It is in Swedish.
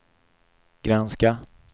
granska